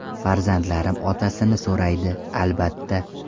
Farzandlarim otasini so‘raydi, albatta.